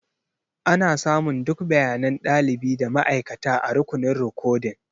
Ana samun duk bayanan ɗalibi da ma'aikata a rukunin rikodin.